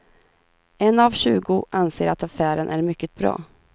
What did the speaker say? En av tjugo anser att affären är mycket bra.